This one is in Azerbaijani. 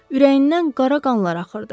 Ürəyindən qara qanlar axırdı.